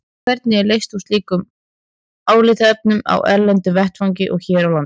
Hvernig er leyst úr slíkum álitaefnum á erlendum vettvangi og hér á landi?